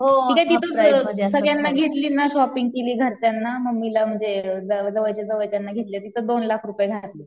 सगळ्यांना घेतली ना शॉपिंग केली घरच्यांना मम्मीला म्हणजे जवळच्या जवळच्यांना घेतले तिथं दोन लाख रुपये घातले.